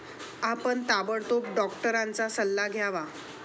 आपण ताबडतोब डॉक्टरांचा सल्ला घ्यावा.